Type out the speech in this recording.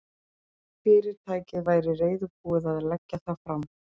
Fyrirtækið væri reiðubúið að leggja það fram.